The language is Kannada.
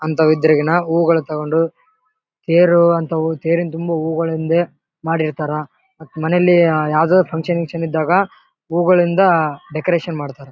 ಅಂತ ಉದ್ರೆಗೆ ನಾ ಹೂ ಗಳು ತಗೊಂಡು ತೇರು ಅಂತ ಹೂ ತೇರಿನ ತುಂಬಾ ಹೂಗಳಿಂದೆ ಮಾಡಿರ್ತಾರೆ. ಮತ್ ಮನೇಲಿ ಯಾವುದೊ ಫಂಕ್ಷನ್ ಗಿಂಕ್ಷನ್ ಇದ್ದಾಗ ಹೂ ಗಳಿಂದ ಡೆಕೋರೇಷನ್ ಮಾಡ್ತಾರೆ.